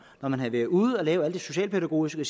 når man havde været ude at lave det socialpædagogiske